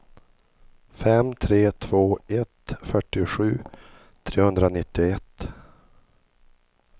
fem tre två ett fyrtiosju trehundranittioett